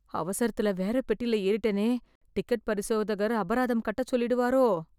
அவசரத்துல வேற பெட்டில ஏறிட்டேனே... டிக்கெட் பரிசோதகர் அபராதம் கட்டச் சொல்லிடுவாரோ?